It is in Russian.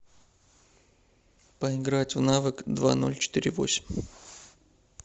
поиграть в навык два ноль четыре восемь